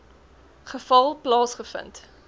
geval plaasge vind